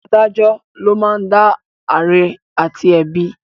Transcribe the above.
Adájọ ló máa ń dá àre àti ẹ̀bi